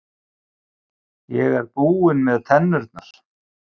Ég er búinn með tennurnar.